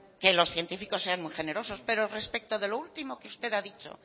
que los científicos sean muy generosos pero respecto de lo último que usted ha dicho